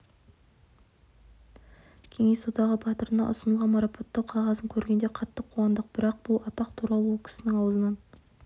кеңес одағы батырына ұсынылған марапаттау қағазын көргенде қатты қуандық бірақ бұл атақ туралы ол кісінің аузынан